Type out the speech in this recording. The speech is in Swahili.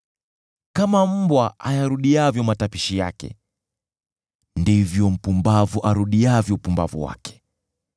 Kama mbwa ayarudiavyo matapiko yake, ndivyo mpumbavu arudiavyo upumbavu wake.